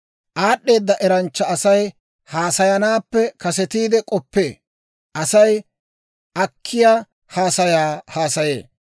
Aad'd'eeda eranchcha Asay haasayanaappe kasetiide k'oppee; Asay akkiyaa haasayaa haasayee.